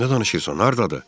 Nə danışırsan, hardadır?